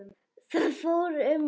Það fór um okkur.